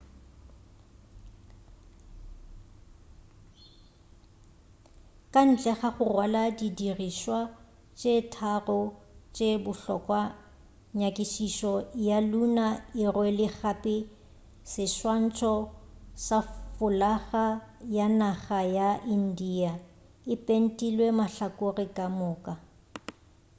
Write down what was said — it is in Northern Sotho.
ka ntle ga go rwala di dirišwa tše tharo tše bohlokwa nyakišišo ya lunar e rwele gape seswantšho sa folaga ya naga ya india e pentilwe mahlakore ka moka